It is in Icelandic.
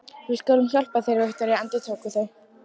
Við skulum hjálpa þér, Viktoría, endurtóku þau.